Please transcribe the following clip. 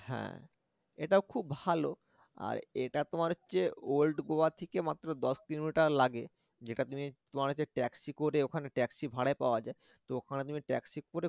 হ্যা এটাও খুব ভালো আর এটা তোমার হচ্ছে old গোয়া থেকে মাত্র দশ kilometer লাগে যেটা তুমি তোমরা হচ্ছে taxi করে ওখানে taxi ভাড়ায় পাওয়া যায় তো ওখানে তুমি taxi করে